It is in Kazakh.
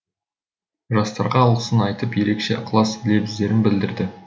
жастарға алғысын айтып ерекше ықылас лебіздерін білдірді